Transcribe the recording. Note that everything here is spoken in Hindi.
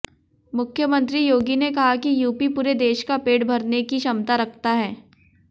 मुख्यमंत्री योगी ने कहा कि यूपी पूरे देश का पेट भरने की क्षमता रखता है